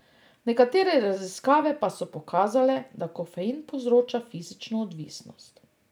Nekatere raziskave pa so pokazale, da kofein povzroča fizično odvisnost.